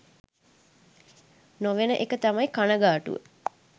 නො වෙන එක තමයි කණගාටුව.